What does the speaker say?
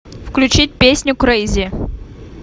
включить песню крэйзи